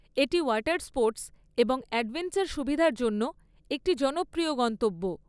এটি water sports এবং adventure সুবিধার জন্য একটি জনপ্রিয় গন্তব্য।